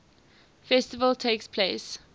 festival takes place